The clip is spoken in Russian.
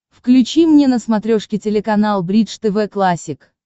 включи мне на смотрешке телеканал бридж тв классик